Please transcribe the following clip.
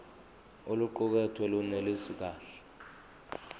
oluqukethwe lunelisi kahle